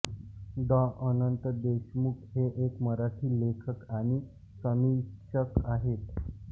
डॉ अनंत देशमुख हे एक मराठी लेखक आणि समीक्षक आहेत